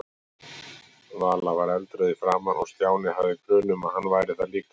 Vala var eldrauð í framan og Stjáni hafði grun um að hann væri það líka.